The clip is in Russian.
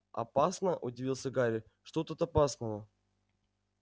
опасно удивился гарри что тут опасного